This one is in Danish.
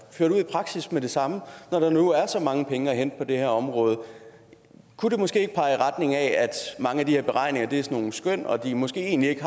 ført ud i praksis med det samme når der nu er så mange penge at hente på det her område kunne det måske ikke pege i retning af at mange af de her beregninger er nogle skøn og at de måske egentlig ikke